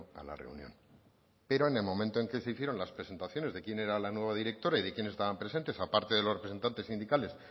a la reunión pero en el momento en que se hicieron las presentaciones de quién era la nueva directora y de quienes estaban presentes aparte de los representantes sindicales